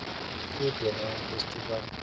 food and wine festival